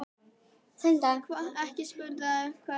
Ekki spyrja mig hvers vegna.